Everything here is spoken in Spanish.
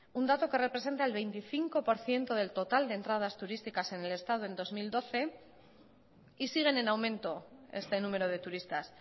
un dato que representa el veinticinco por ciento del total de entradas turísticas en el estado en dos mil doce y siguen en aumento este número de turistas